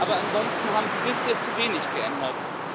Aber ansonsten haben Sie bisher zu wenig geändert.